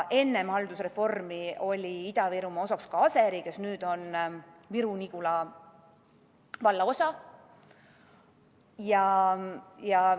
Enne haldusreformi oli Ida-Virumaa osa ka Aseri, mis nüüd on Viru-Nigula valla osa.